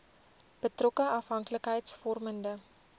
betrokke afhanklikheids vormende